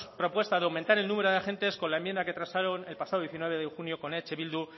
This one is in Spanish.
propuesta de aumentar el número de agentes con la enmienda que transaron el pasado diecinueve de junio con eh bildu